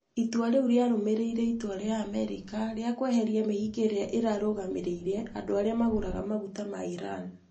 Itua rĩu rĩarũmĩrĩire itua rĩa Amerika rĩa kweheria mĩhĩnga ĩrĩa ĩrarũgamĩrĩire andũ arĩa magũraga maguta ma Iran".